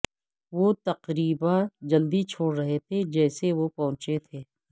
وہ تقریبا جلدی چھوڑ رہے تھے جیسے وہ پہنچے تھے